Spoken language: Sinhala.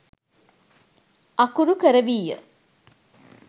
අකුරු කරවීය.